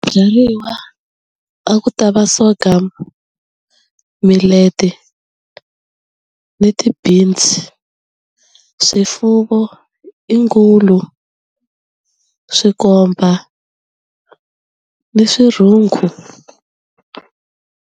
Byariwa a ku ta va soccer, milete ni ti-beans, swifuvo i ngulu swikomba ni swirhungu.